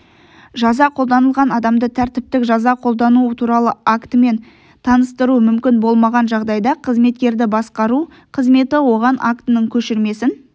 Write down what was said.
жаза қолданылған адамды тәртіптік жаза қолдану туралы актімен таныстыру мүмкін болмаған жағдайда қызметкерді басқару қызметі оған актінің көшірмесін